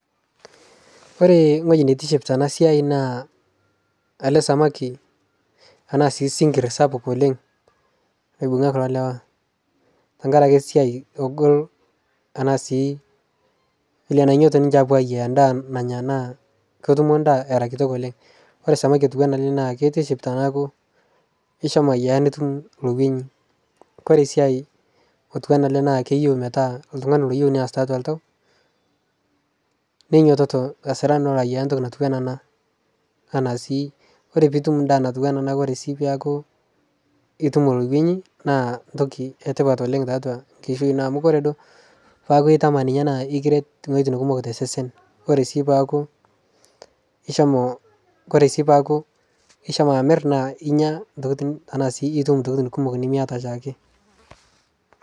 Ore ewoi nitiship tenasia na sinkir sapuk oleng naibungavkulo lrwa tengaraki esiai nagol egira aingoru endaa nanya na ketumbendaa erabkumok oleng ore samaki na kitiship enilo ayiaya nitum ltungani metaa loyieu neas toltau ninyototo alo ayiaya Entoki ore su pitum orkuenyi na entoki etipat tiatua enkishui ino amu ore duo peaku na ekiret nkolongi kumok tosesen ore peaku ishomo amir na inya ntokitin kumok nimiata oshiake